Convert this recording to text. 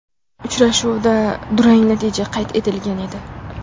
Uchrashuvda durang natija qayd etilgan edi.